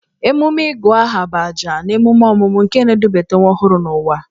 Emume Ịgụ aha bụ ajà na emume ọmụmụ nke na-edubata nwa ọhụrụ n'ụwa.